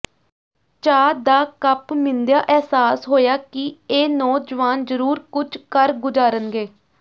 ਚਾਹ ਦਾ ਕੱਪ ਮੀਨ੍ਦੀਆਂ ਅਹਿਸਾਸ ਹੋਇਆ ਕਿ ਇਹ ਨੌਜਵਾਨ ਜ਼ਰੂਰ ਕੁਝ ਕਰ ਗੁਜ਼ਾਰੰਗੇ